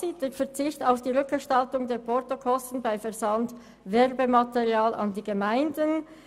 Erstens: «Der Verzicht auf die Rückerstattung der Portokosten bei Versand von Werbematerial an die Gemeinden.»